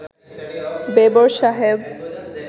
বেবর সাহেব